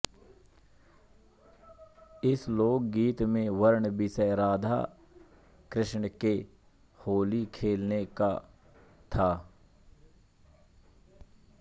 इस लोकगीत में वर्ण्य विषय राधा कृष्ण के होली खेलने का था